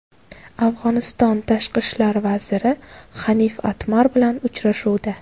Afg‘oniston Tashqi ishlar vaziri Hanif Atmar bilan uchrashuvda.